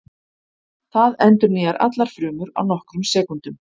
Það endurnýjar allar frumur á nokkrum sekúndum.